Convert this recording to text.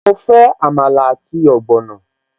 Mo fẹ́ Àmàlà àti ogbono